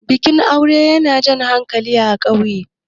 bikin aure yana Jan hankali a ƙauye